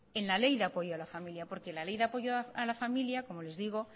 en la ley de apoyo a la familia porque la ley de apoyo a la familia como les digo